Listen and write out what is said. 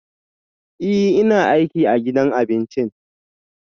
Ee, ina aiki a gidan abincin